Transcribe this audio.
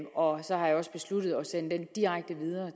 og så har jeg også besluttet at sende den direkte videre